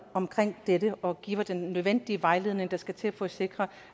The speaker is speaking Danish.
omkring dette og giver den nødvendige vejledning der skal til for at sikre